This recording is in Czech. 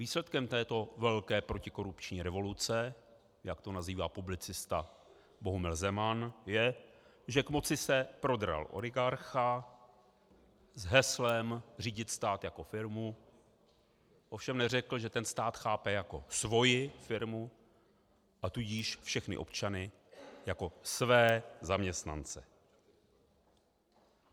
Výsledkem této velké protikorupční revoluce, jak to nazývá publicista Bohumil Zeman, je, že k moci se prodral oligarcha s heslem řídit stát jako firmu, ovšem neřekl, že ten stát chápe jako svoji firmu, a tudíž všechny občany jako své zaměstnance.